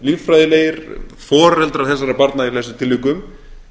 líffræðilegir foreldrar þessara barna í flestum tilvikum